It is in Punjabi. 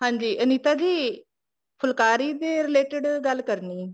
ਹਾਂਜੀ ਅਨੀਤਾ ਜੀ ਫੁਲਕਾਰੀ ਦੇ related ਗੱਲ ਕਰਨੀ